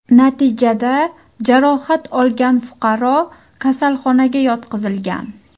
Natijada jarohat olgan fuqaro kasalxonaga yotqizilgan.